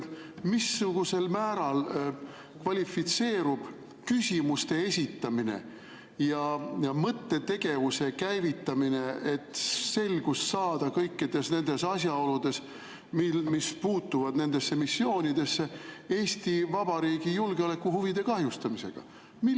Missugusel määral kvalifitseerub küsimuste esitamine ja mõttetegevuse käivitamine, et selgust saada kõikides nendes asjaoludes, mis puutuvad nendesse missioonidesse, Eesti Vabariigi julgeolekuhuvide kahjustamisena?